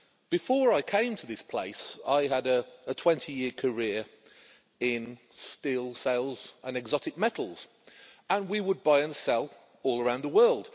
Before I came to this place, I had a 20 year career in steel sales and exotic metals, and we would buy and sell all around the world.